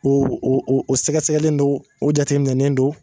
O o o sɛgɛsɛgɛlen don o jateminɛnen don